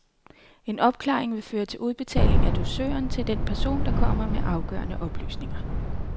En opklaring vil føre til udbetaling af dusøren til den person, der kommer med afgørende oplysninger.